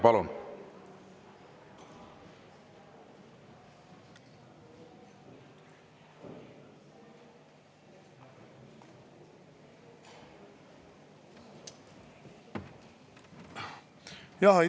Palun!